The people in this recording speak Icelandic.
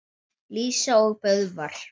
Lísa og Böðvar.